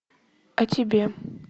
о тебе